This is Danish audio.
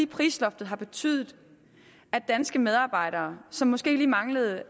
prisloftet har betydet at danske medarbejdere som måske lige manglede